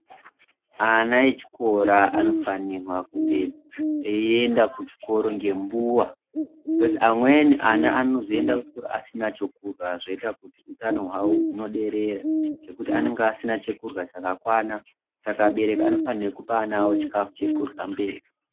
Ana echikora anofanirwe kunge einda kuchikora ngembuwa kozi amweni ana anozoenda kuchikora asina chokudya zvinoita kuti utano hwawo unoderera ngekuti anenge asina chekurwa chakakwana, abereki anofanirwa kupa ana awo chikafu chekurwa mberi.